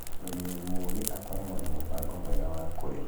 Mũrĩmi mũũgĩ akoragwo na mũbango mwega wa kũrĩma.